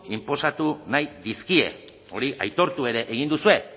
inposatu nahi dizkie hori aitortu ere egin duzue